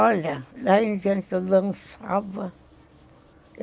Olha, lá em diante eu dançava.